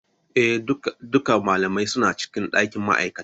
Eh, Duka malamai suna cikin dakin ma'aikata.